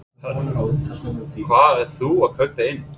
Hödd: Hvað ert þú að kaupa inn?